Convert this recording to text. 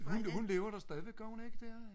hun lever da stadigvæk gør hun ikke det?